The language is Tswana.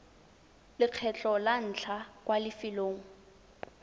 lekgetlho la ntlha kwa lefelong